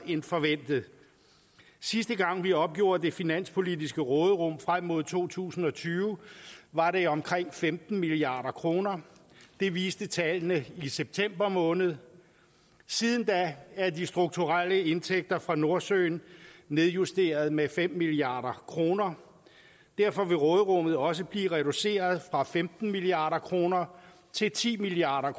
end forventet sidste gang vi opgjorde det finanspolitiske råderum frem mod to tusind og tyve var det omkring femten milliard kroner det viste tallene i september måned siden da er de strukturelle indtægter fra nordsøen nedjusteret med fem milliard kroner derfor vil råderummet også blive reduceret fra femten milliard kroner til ti milliard